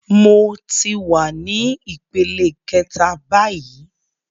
Mo ti wa ní ìpele kẹta báyìí